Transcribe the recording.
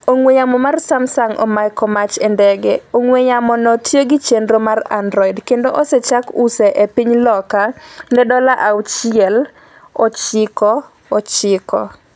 ong'we yamo mar Samsung omako mach e ndege ong'we yamo no tiyo kod chenro mar Android kendo osechak use e piny Loka ne dola auchiel ochiko ochiko